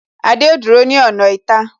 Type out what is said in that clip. Adé ó dúró ní ọ̀nà ìta